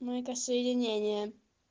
ну это соединение